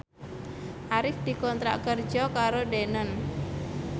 Arif dikontrak kerja karo Danone